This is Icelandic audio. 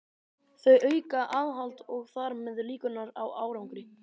Þau auka aðhald og þar með líkurnar á árangri.